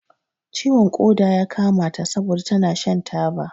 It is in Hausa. Ciwon ƙoda ya kama ta sabon da tana shan taba.